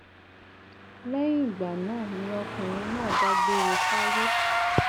lẹyìn ìgbà náà ni ọkùnrin náà dágbére fáyé